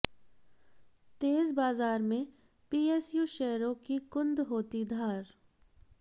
तेज बाजार में पीएसयू शेयरों की कुंद होती धार